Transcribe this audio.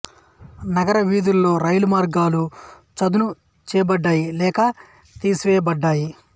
నగర వీధులలో రైలు మార్గాలు చదును చేయబడ్డాయి లేక తీసివేయబడ్డాయి